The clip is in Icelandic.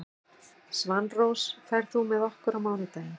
Svanrós, ferð þú með okkur á mánudaginn?